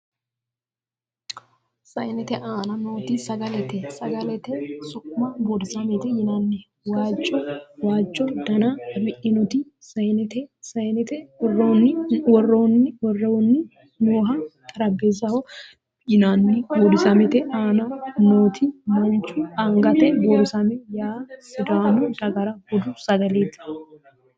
Sayinete aana nooti sagalete. Sagalete su'ma buurisamete yinanni. waajjo dana afidhinoti sayinete. sayinete woroonni nooha xarapheezzaho yinnani. buurisamete aana nooti manchu angaati. buurisame yaa sidaamu dagara budu sagaleeti.